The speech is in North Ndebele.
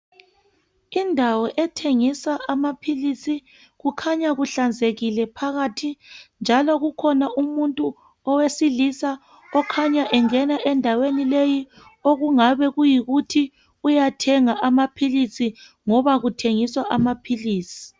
Indawo ethengiswa amaphilisi kukhanya kuhlanzekile phakathi njalo kukhona umuntu owesilisa okhanya engena endaweni leyi okungabe kuyikuthi uyathenga amaphilisi ngoba kuthengiswa amaphilisi.